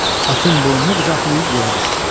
Atın boynunu qucaqlayıb yerə düşdü.